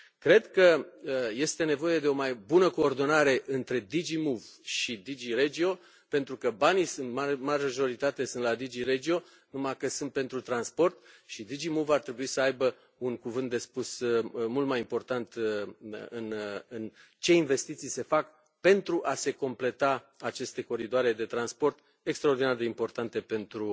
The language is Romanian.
Cred că este nevoie de o mai bună coordonare între DG MOVE și DG REGIO, pentru că banii sunt în majoritate la DG REGIO, numai că sunt pentru transport și DG MOVE ar trebui să aibă un cuvânt mult mai important de spus în ceea ce privește investițiile care se fac pentru a se completa aceste coridoare de transport extraordinar de importante pentru